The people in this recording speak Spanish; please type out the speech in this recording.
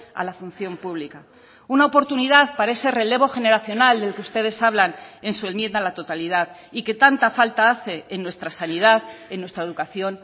a la función pública una oportunidad para ese relevo generacional del que ustedes hablan en su enmienda a la totalidad y que tanta falta hace en nuestra sanidad en nuestra educación